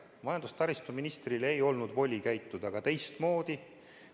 Majandus- ja taristuministril ei olnud voli teistmoodi käituda.